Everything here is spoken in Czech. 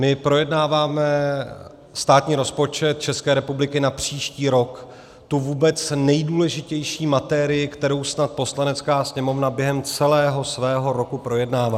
My projednáváme státní rozpočet České republiky na příští rok, tu vůbec nejdůležitější materii, kterou snad Poslanecká sněmovna během celého svého roku projednává.